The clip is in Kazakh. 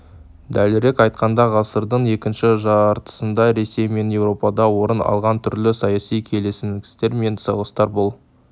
дәлірек айтқанда ғасырдың екінші жартысында ресей мен еуропада орын алған түрлі саяси келеңсіздіктер мен соғыстар бұл